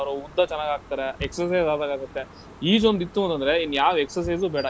ಅವ್ರ ಉದ್ದ ಚೆನಾಗಾಗ್ತಾರೆ, exercise ಆದ್ಹಾಗಾಗತ್ತೆ. ಈಜೊಂದ್ ಇತ್ತು ಅಂತಂದ್ರೆ ಇನ್ಯಾವ್ exercise ಉ ಬೇಡ.